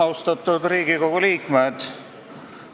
Austatud Riigikogu liikmed!